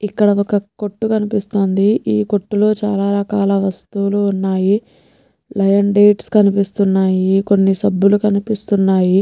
ఇక్కడ ఒక్క కొట్టు కనిపిస్తుంది ఈ కొట్టులో చాలా రకాల వస్తువులు ఉన్నాయి లైయన్ డేట్స్ కనిపిస్తున్నాయి కొన్ని సబ్బులు కనిపిస్తున్నాయి.